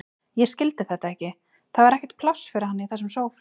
Ég skildi þetta ekki, það var ekkert pláss fyrir hana í þessum sófa.